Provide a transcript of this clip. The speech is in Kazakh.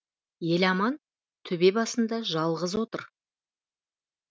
еламан төбе басында жалғыз отыр